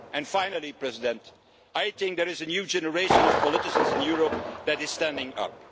Finally, President, I think there is a new generation of politicians in Europe who are standing up.